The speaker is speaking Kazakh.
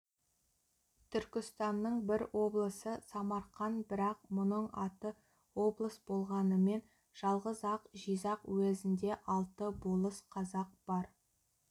түркістанның бір облысы самарқан бірақ мұның аты облыс болғанымен жалғыз-ақ жизақ уезінде алты болыс қазақ бар